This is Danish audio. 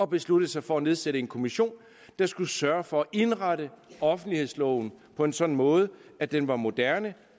besluttede sig for at nedsætte en kommission der skulle sørge for at indrette offentlighedsloven på en sådan måde at den var moderne